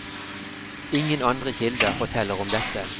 Ingen andre kilder forteller om dette.